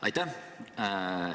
Aitäh!